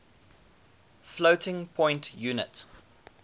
floating point unit